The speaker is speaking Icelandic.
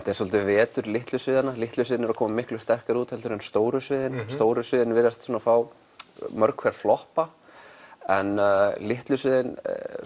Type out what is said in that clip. er svolítið vetur litlu sviðanna litlu sviðin eru að koma miklu sterkar út heldur en stóru sviðin stóru sviðin virðast mörg hver floppa en litlu sviðin